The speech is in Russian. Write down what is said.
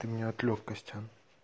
ты меня отвлёк костян